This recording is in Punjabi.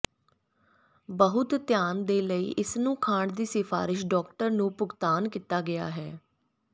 ਬਹੁਤ ਧਿਆਨ ਦੇ ਲਈ ਇਸ ਨੂੰ ਖਾਣ ਦੀ ਸਿਫਾਰਸ਼ ਡਾਕਟਰ ਨੂੰ ਭੁਗਤਾਨ ਕੀਤਾ ਗਿਆ ਹੈ